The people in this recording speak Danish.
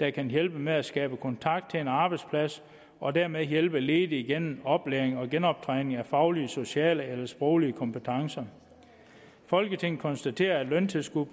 der kan hjælpe med at skabe kontakt til en arbejdsplads og dermed hjælpe ledige gennem oplæring og genoptræning af faglige sociale eller sproglige kompetencer folketinget konstaterer at løntilskud